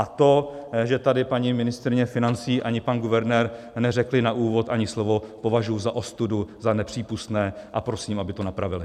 A to, že tady paní ministryně financí ani pan guvernér neřekli na úvod ani slovo, považuji za ostudu, za nepřípustné a prosím, aby to napravili.